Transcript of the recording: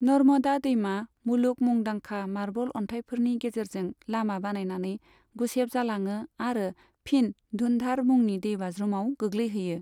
नर्मदा दैमा, मुलुग मुंदांखा मार्बल अनथाइफोरनि गेजेरजों लामा बानायनानै गुसेब जालाङो आरो फिन धुन्धार मुंनि दैबाज्रुमाव गोग्लैहैयो।